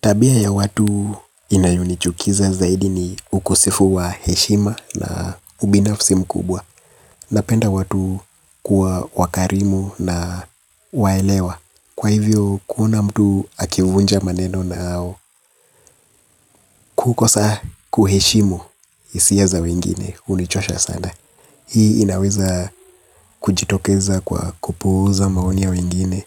Tabia ya watu inayonichukiza zaidi ni ukosefu wa heshima na ubinafsi mkubwa. Napenda watu kuwa wakarimu na waelewa. Kwa hivyo kuona mtu akivunja maneno na au kukosa kuheshimu isia za wengine hunichosha sana. Hii inaweza kujitokeza kwa kupuuza maoni ya wengine.